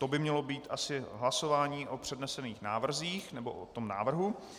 To by mělo být asi hlasování o přednesených návrzích nebo o tom návrhu.